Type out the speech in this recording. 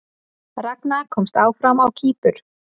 Ragna komst áfram á Kýpur